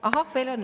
Ahah, veel on, jah!